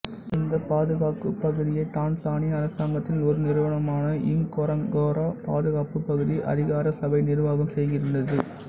இந்தப் பாதுகாப்புப் பகுதியை தான்சானிய அரசாங்கத்தின் ஒரு நிறுவனமான இங்கொரொங்கோரோ பாதுகாப்புப் பகுதி அதிகாரசபை நிர்வாகம் செய்கின்றது